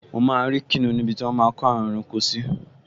Mo máa rí kìnìún níbi tí wọ́n máa n kó àwọn ẹranko sí